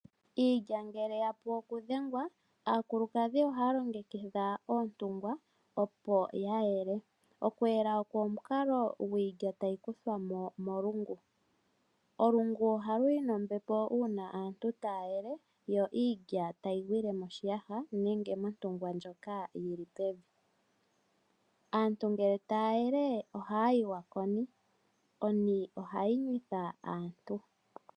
Iilya ngele ya pu okudhengwa aakulukadhi ohaya longekidha oontungwa opo ya yele. Okuyela oko omukalo gwiilya tayi kuthwa mo molungu. Olungu ohalu yi nombepo uuna aantu taya yele yo iilya tayi gwile moshiyaha nenge montungwa ndjoka yili pevi. Aantu ngele taya yele ohaya yiwa koni, oni ohayi nyuwitha aantu.